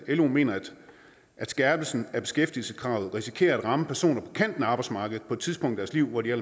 lo mener at skærpelsen af beskæftigelseskravet risikerer at ramme personer på kanten af arbejdsmarkedet på et tidspunkt i deres liv hvor de er